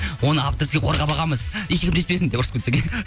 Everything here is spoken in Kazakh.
оны авторский қорғам алғанбыз ешкім тиіспесін деп ұрысып кетсең иә